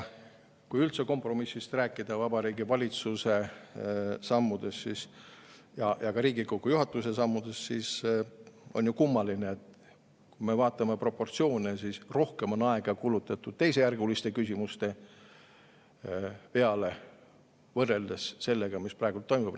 Kui üldse kompromissist rääkida Vabariigi Valitsuse sammusid ja ka Riigikogu juhatuse sammusid, siis on kummaline, et kui me vaatame proportsioone, siis rohkem on aega kulutatud teisejärguliste küsimuste peale, võrreldes selle arutamisega, mis praegu toimub.